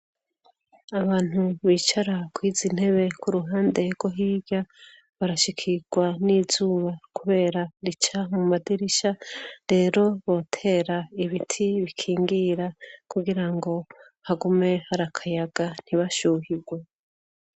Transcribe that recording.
Abantu bicara kuri izi ntebe ku ruhande rwo hirya, barashikirwa n'izuba kubera rica mu madirisha. Rero botera ibiti bikingira kugira ngo hagume harakayaga ntibashuhirwe.